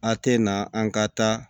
A kɛ na an ka taa